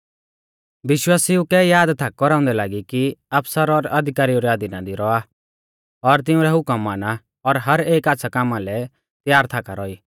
विश्वासिऊ कै याद थाक कौराउंदै लागी कि आफसर और अधिकारिऊ रै अधीना दी रौआ और तिउंरै हुकम माना और हर एक आच़्छ़ै कामा लै तैयार थाका रौई